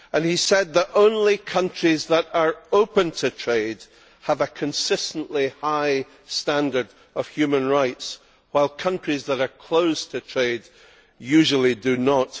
He said that only countries that are open to trade have a consistently high standard of human rights, while countries that are closed to trade usually do not.